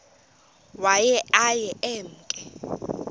waye aye emke